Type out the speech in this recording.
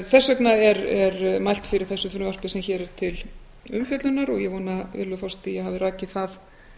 þess vegna er mælt fyrir þessu frumvarpi sem hér er til umfjöllunar og ég vona virðulegur forseti að ég hafi rakið það